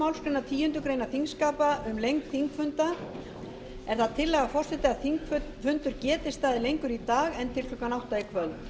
málsgreinar tíundu greinar þingskapa um lengd þingfunda er það tillaga forseta að þingfundir geti staðið lengur í dag